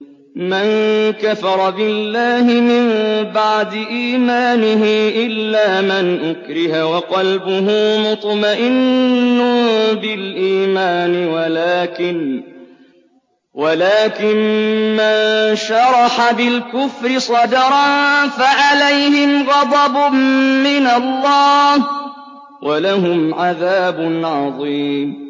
مَن كَفَرَ بِاللَّهِ مِن بَعْدِ إِيمَانِهِ إِلَّا مَنْ أُكْرِهَ وَقَلْبُهُ مُطْمَئِنٌّ بِالْإِيمَانِ وَلَٰكِن مَّن شَرَحَ بِالْكُفْرِ صَدْرًا فَعَلَيْهِمْ غَضَبٌ مِّنَ اللَّهِ وَلَهُمْ عَذَابٌ عَظِيمٌ